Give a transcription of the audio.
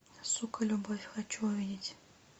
сука любовь хочу увидеть